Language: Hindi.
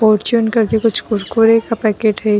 फॉर्चून करके कुछ कुरकुरे का पैकेट है।